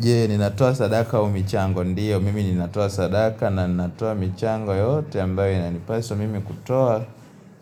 Jee, ninatoa sadaka au michango ndiyo, mimi ninatoa sadaka na ninatoa michango yote ambayo inanipaswa mimi kutoa.